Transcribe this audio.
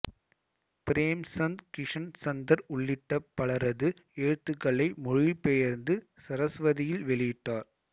பிரேம்சந்த் கிஷன் சந்தர் உள்ளிட்ட பலரது எழுத்துக்களை மொழிபெயர்த்து சரஸ்வதியில் வெளியிட்டார்